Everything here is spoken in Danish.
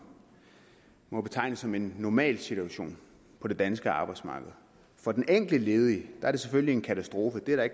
må betegnes som en normal situation på det danske arbejdsmarked for den enkelte ledige er det selvfølgelig en katastrofe det er der